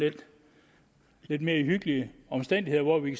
lidt mere hyggelige omstændigheder hvor vi